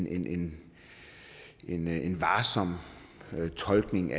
end en en varsom tolkning